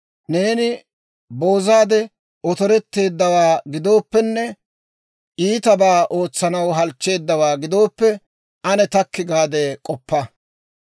Neeni boozaade otoretteeddawaa gidooppenne, iitabaa ootsanaw halchcheeddawaa gidooppe, ane takki gaade k'oppa.